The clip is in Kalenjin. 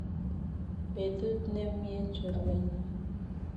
Betut nemnyee chorwenyu